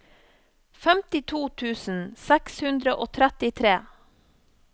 femtito tusen seks hundre og trettitre